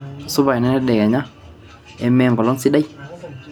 supa enendedekenya emee enkolong sidai